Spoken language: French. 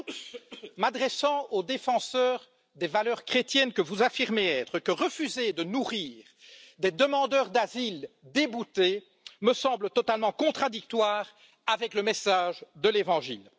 J'ajoute, m'adressant au défenseur des valeurs chrétiennes que vous affirmez être, que refuser de nourrir des demandeurs d'asile déboutés me semble totalement contradictoire avec le message de l'Évangile.